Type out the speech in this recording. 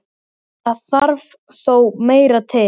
Það þarf þó meira til.